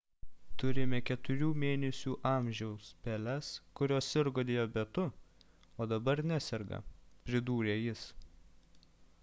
turime 4 mėnesių amžiaus peles kurios sirgo diabetu o dabar neserga – pridūrė jis